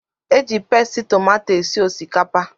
Eji pasti tomato esi osikapa